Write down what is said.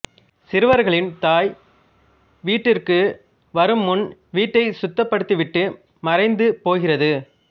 சிறுவர்களின் தாய் வீட்டிற்கு வரும் முன் வீட்டை சுத்தப்படுத்திவிட்டு மறைந்து போகிறது